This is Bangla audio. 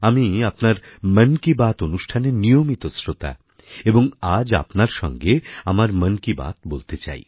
আমি আপনার মন কি বাত অনুষ্ঠানের নিয়মিত শ্রোতা এবং আজ আপনার সঙ্গে আমার মন কি বাত বলতে চাই